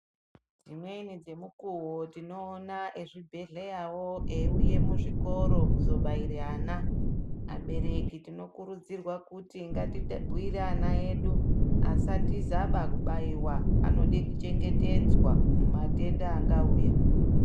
Dzimweni dzemukuwo tinoona ezivibhedhlera wo eyiuye muzvikoro kuzobaira ana abereki tinokurudzirwa kuti ngatibhuyire ana edu asatiza ba kubayiwa anode kuchengetedzwa mumatenda angauya.